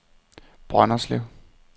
Brønderslev